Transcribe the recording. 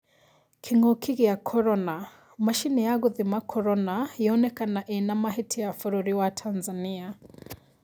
Kĩng'oki gĩa korona: macini ya gũthima korona 'yoneka inamahĩtia bũrũri wa Tanzania.'